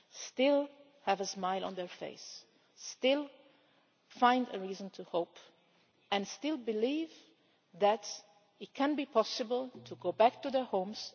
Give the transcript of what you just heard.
still have a smile on their face, still find a reason to hope and still believe that it can be possible to go back to their homes.